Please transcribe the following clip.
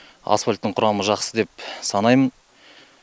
асфальттың құрамы жақсы деп санаймын